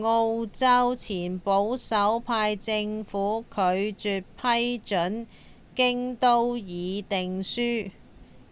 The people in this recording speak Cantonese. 澳洲前保守派政府拒絕批准《京都議定書》